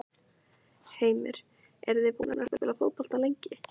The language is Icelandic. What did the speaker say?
Heimir: Eruð þið búnir að spila fótbolta lengi?